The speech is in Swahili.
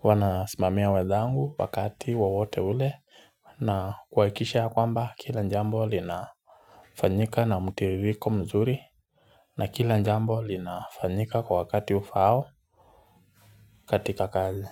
Huwa na simamia wenzangu wakati wowote ule na kuhakisha ya kwamba kila njambo linafanyika na mtiririko mzuri. Na kila jambo linafanyika kwa wakati ufao katika kazi.